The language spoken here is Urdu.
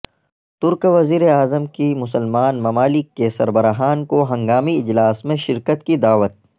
ترک وزیر اعظم کی مسلمان ممالک کے سربراہان کو ہنگامی اجلاس میں شرکت کی دعوت